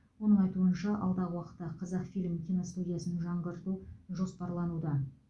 оның айтуынша алдағы уақытта қазақфильм киностудиясын жаңғырту жоспарлануда